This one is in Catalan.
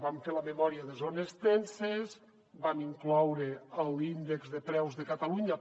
vam fer la memòria de zones tenses vam incloure l’índex de preus de catalunya